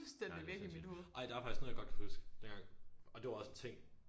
Nej det sindssygt ej der er faktisk noget jeg godt kan huske dengang og det var også en ting